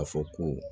A fɔ ko